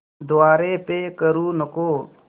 द्वारे पे करू नको